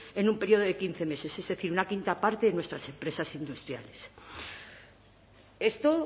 en un periodo de quince meses es decir una quinta parte de nuestras empresas industriales esto